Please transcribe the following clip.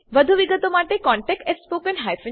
વધુ વિગતો માટે કૃપા કરી contactspoken tutorialorg પર લખો